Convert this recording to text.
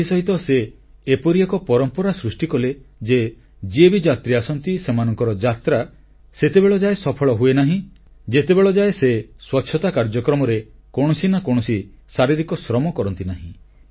ଏଥିସହିତ ସେ ଏପରି ଏକ ପରମ୍ପରା ସୃଷ୍ଟି କଲେ ଯେ ଯିଏ ବି ଯାତ୍ରୀ ଆସନ୍ତି ସେମାନଙ୍କର ଯାତ୍ରା ସେତେବେଳ ଯାଏ ସଫଳ ହୁଏନାହିଁ ଯେତେବେଳ ଯାଏ ସେ ସ୍ୱଚ୍ଛତା କାର୍ଯ୍ୟକ୍ରମରେ କୌଣସି ନା କୌଣସି ଶାରୀରିକ ଶ୍ରମ କରନ୍ତି ନାହିଁ